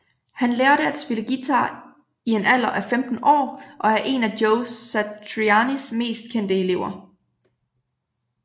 Han lærte at spille guitar en alder af 15 år og er en af Joe Satrianis mest kendte elever